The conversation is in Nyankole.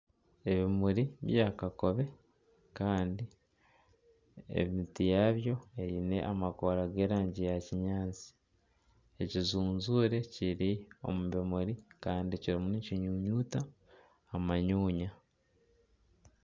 Ebimuri bya kakobe kandi emiti yaabyo eine amakoora g'erangi ya kinyaatsi ekijujuure kiri omu bimuri kandi kirimu kikinyunyuta amanyunya.